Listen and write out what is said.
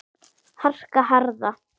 harka. harka.